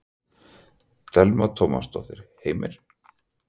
Telma Tómasson: Heimir?